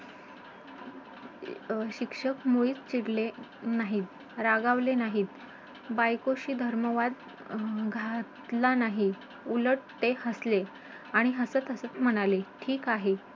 की एका प्रत्येक एका Proper Decision मध्ये तू उतारतोस.